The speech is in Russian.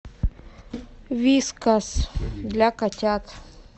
вискас для котят